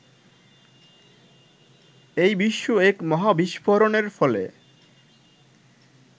এই বিশ্ব এক মহাবিস্ফোরণের ফলে